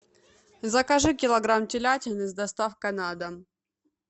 закажи килограмм телятины с доставкой на дом